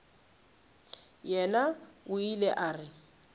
yena o ile a re